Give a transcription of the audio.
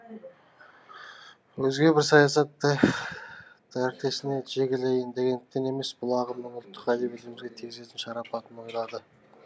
өзге бір саясат дәртесіне жегілейін дегендіктен емес бұл ағымның ұлттық әдебиетімізге тигізетін шарапатын ойлады